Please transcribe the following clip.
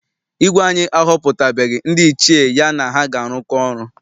Igwe anyi ahọputabeghi ndị Ichie ya na ha ga arụkọ ọrụ.